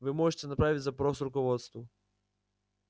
вы можете направить запрос руководству